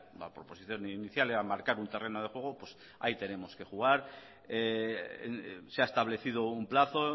la proposición inicial era marcar un terreno de juego pues ahí tenemos que jugar se ha establecido un plazo